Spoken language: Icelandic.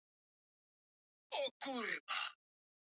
LÁRUS: Hvað gerið þið með alla þessa skó?